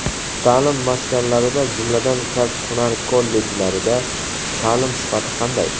Ta’lim maskanlarida, jumladan, kasb-hunar kollejlarida ta’lim sifati qanday?